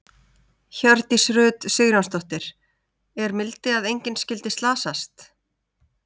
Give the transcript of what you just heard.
Hjördís Rut Sigurjónsdóttir: Er mildi að engin skyldi slasast?